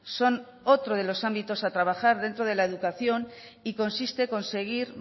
son otro de los ámbitos a trabajar dentro de la educación y consiste conseguir